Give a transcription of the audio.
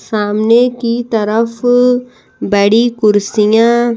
सामने की तरफ बड़ी कुर्सियाँ--